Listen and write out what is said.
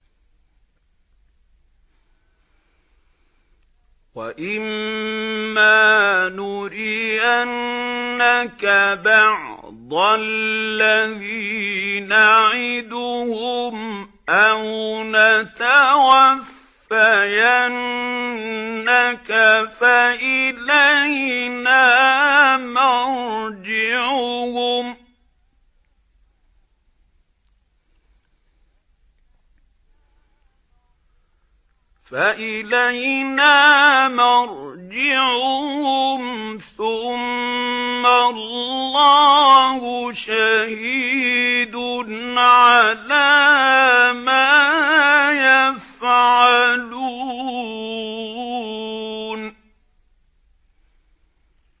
وَإِمَّا نُرِيَنَّكَ بَعْضَ الَّذِي نَعِدُهُمْ أَوْ نَتَوَفَّيَنَّكَ فَإِلَيْنَا مَرْجِعُهُمْ ثُمَّ اللَّهُ شَهِيدٌ عَلَىٰ مَا يَفْعَلُونَ